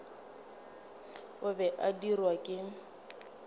o be a dirwa ke